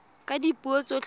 ka dipuo tsotlhe tse di